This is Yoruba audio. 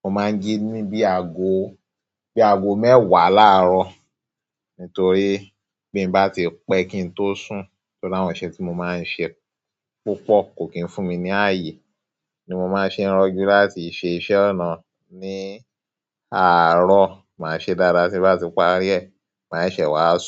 mo máa ń jí ní bí i àgó, bí i àgó mẹ́wàá láàárọ̀. Nítorí, bí mba ti pẹ́ kí n tó sùn, o làwọn iṣẹ́ tí mo máa ń ṣe púpọ̀. Kò kí n fún mi ní ààyè, ni mo máa ṣe rojú láti ṣe iṣẹ́ ọnà ní àárọ̀. Máa ṣe dáada tí bá ti parí ẹ, màá ṣẹ̀se wá sùn.